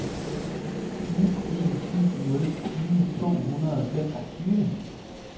ni en syv nul tyve to hundrede og femogtyve